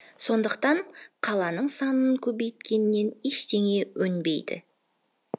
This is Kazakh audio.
сондықтан қаланың санын көбейткеннен ештеңе өнбейді